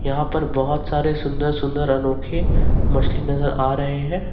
यहां पर बहुत सारे सुंदर सुंदर अनोखे मछली नजर आ रहे हैं।